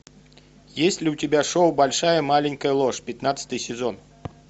есть ли у тебя шоу большая маленькая ложь пятнадцатый сезон